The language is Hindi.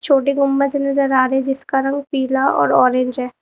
छोटी गुंबज नजर आ रही है जिसका रंग पीला और ऑरेंज है।